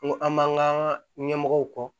N ko an b'an ka ɲɛmɔgɔw kɔ